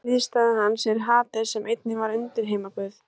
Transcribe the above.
Grísk hliðstæða hans er Hades sem einnig var undirheimaguð.